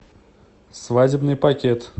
свадебный пакет